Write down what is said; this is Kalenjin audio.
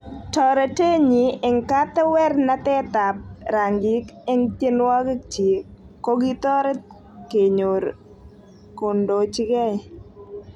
Torotet nyi eng katewernatet ap rangik eng tyenwogik chiik kokitoret kenyor kondochigei